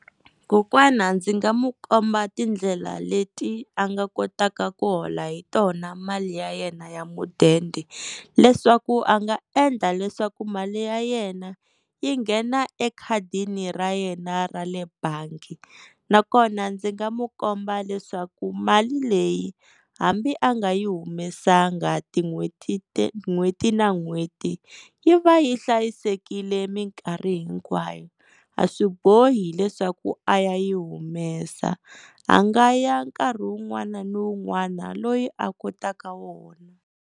Kokwana ndzi nga mu komba tindlela leti a nga kotaka ku hola hi tona mali ya yena ya mudende leswaku a nga endla leswaku mali ya yena yi nghena ekhadini ra yena ra le bangi nakona ndzi nga mu komba leswaku mali leyi hambi a nga yi humesanga tin'hweti n'hweti na n'hweti yi va yi hlayisekile minkarhi hinkwayo a swi bohi leswaku a ya yi humesa a nga ya nkarhi wun'wana ni wun'wana loyi a kotaka wona.